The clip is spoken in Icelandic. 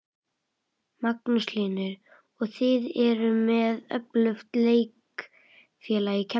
Magnús Hlynur: Og þið eruð með öflugt leikfélag í Keflavík?